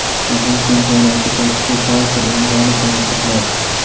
Jahon chempionati paytida barcha o‘yinlarni tomosha qilasiz.